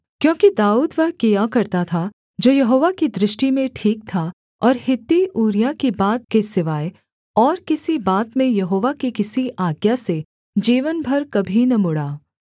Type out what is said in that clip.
क्योंकि दाऊद वह किया करता था जो यहोवा की दृष्टि में ठीक था और हित्ती ऊरिय्याह की बात के सिवाय और किसी बात में यहोवा की किसी आज्ञा से जीवन भर कभी न मुड़ा